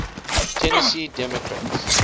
tennessee democrats